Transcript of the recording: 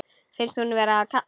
Finnst hún vera að kafna.